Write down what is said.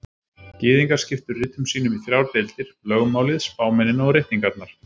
Gyðingar skiptu ritum sínum í þrjár deildir: Lögmálið, spámennina og ritningarnar.